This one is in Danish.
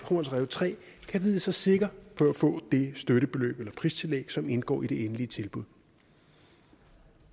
horns rev tre kan vide sig sikker på at få det støttebeløb eller pristillæg som indgår i det endelige tilbud